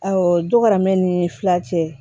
Awɔ dugarame ni fila cɛ